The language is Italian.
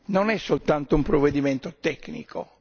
non è soltanto un provvedimento tecnico.